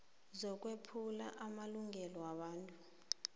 zokwephulwa kwamalungelo wobuntu